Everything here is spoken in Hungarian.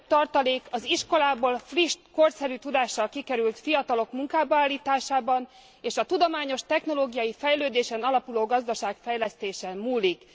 A legnagyobb tartalék az iskolából friss, korszerű tudással kikerült fiatalok munkába állításában és a tudományos technológiai fejlődésen alapuló gazdaságfejlesztésen múlik.